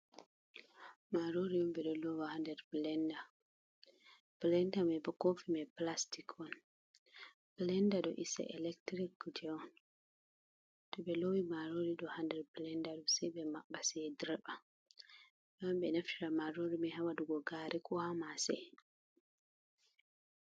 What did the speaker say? Marori on ɓe ɗo lowa ha nder blenda. Blanda mai bo kofi mai plastik on. Blenda ɗo is e electric kuje on. To ɓe lowi marori ha nder blenda mai, se ɓe maɓɓa, se dirɓa. Ɓe wawan ɓe naftira marori mai ha waɗugo gaari ko ha maasa.